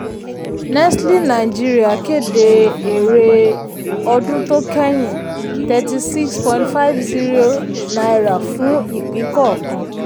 nestle nigeria kéde èrè ọdún to kẹ́yìn: thirty six point five zero naira fún ipín kọọkan.